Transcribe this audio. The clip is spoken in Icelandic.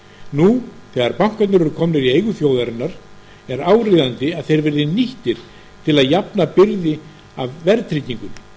nú þegar bankarnir eru komnir í eigu þjóðarinnar er áríðandi að þeir verði nýttir til að jafna byrði af verðtryggingunni